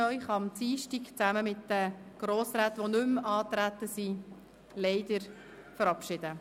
Am Dienstag werde ich Sie gemeinsam mit den Grossräten, die nicht mehr angetreten sind, leider verabschieden.